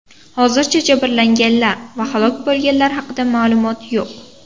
Hozircha jabrlanganlar va halok bo‘lganlar haqida ma’lumot yo‘q.